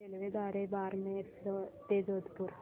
रेल्वेद्वारे बारमेर ते जोधपुर